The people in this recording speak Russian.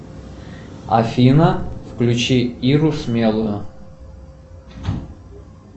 афина включи иру смелую